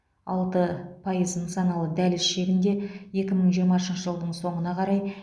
алты пайыз нысаналы дәліз шегінде екі мың жиырмасыншы жылдың соңына қарай